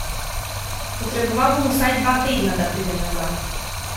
Potreboval bom vsaj dva tedna, da pridem nazaj.